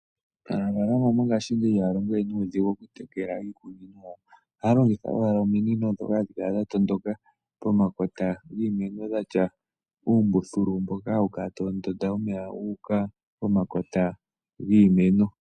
Aanafalama mongashingeyi ihaya longo nuudhigu mokutekela iimeno yawo ohaya longitha owala ominino dhoka hadhi kala dhatondokala pomakota giimeno dhatya uumbuthulu mboka hawu kala tawu ndonda omeya guuka pomakota giimeno.